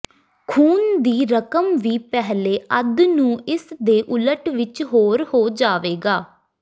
ਖੂਨ ਦੀ ਰਕਮ ਵੀ ਪਹਿਲੇ ਅੱਧ ਨੂੰ ਇਸ ਦੇ ਉਲਟ ਵਿੱਚ ਹੋਰ ਹੋ ਜਾਵੇਗਾ